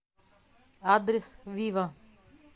адрес вива